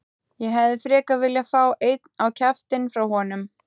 Ég hefði frekar viljað fá einn á kjaftinn frá honum.